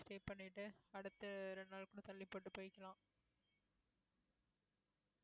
stay பண்ணிட்டு அடுத்து ரெண்டு நாளு கூட தள்ளி போட்டு போயிக்கலாம்